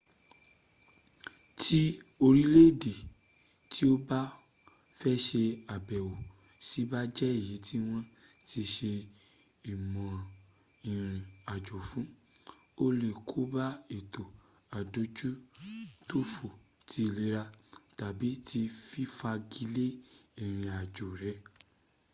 ti orile ede ti o ba fe se abewo si ba je eyi ti won ti se imoran irin ajo fun o le koba eto adojutofo ti ilera tabi ti fifagi le irinajo re